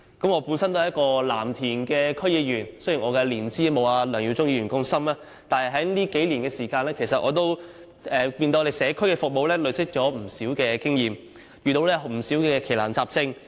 我本身也是藍田區區議員，雖然我的年資沒有梁耀忠議員般深，但在這數年時間中，我亦從社區服務中累積了不少經驗，遇過不少奇難雜症。